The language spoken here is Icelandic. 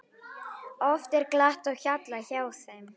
Oft er glatt á hjalla hjá þeim.